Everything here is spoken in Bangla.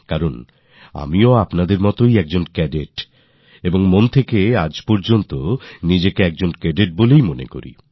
কারণ আমিও আপনাদের মতোই Cadetছিলাম আর মন থেকে আজও আমি নিজেকে Cadetমনে করি